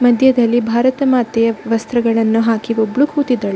ಮದ್ಯದಲ್ಲಿ ಭಾರತ ಮಾತೆಯ ವಸ್ತ್ರಗಳನ್ನು ಹಾಕಿ ಒಬ್ಬಳು ಕೂತಿದ್ದಾಳೆ --